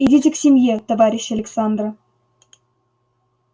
идите к семье товарищ александра